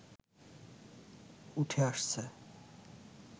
উঠে আসছে